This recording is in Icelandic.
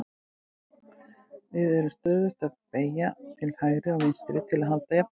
við erum stöðugt að beygja til hægri og vinstri til að halda jafnvægi